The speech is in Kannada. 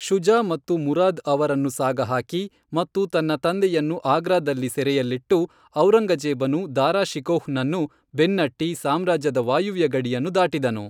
ಶುಜಾ ಮತ್ತು ಮುರಾದ್ ಅವರನ್ನು ಸಾಗಹಾಕಿ, ಮತ್ತು ತನ್ನ ತಂದೆಯನ್ನು ಆಗ್ರಾದಲ್ಲಿ ಸೆರೆಯಲ್ಲಿಟ್ಟು, ಔರಂಗಜೇಬನು ದಾರಾ ಶಿಕೋಹ್ ನನ್ನು ಬೆನ್ನಟ್ಟಿ ಸಾಮ್ರಾಜ್ಯದ ವಾಯವ್ಯ ಗಡಿಯನ್ನು ದಾಟಿದನು.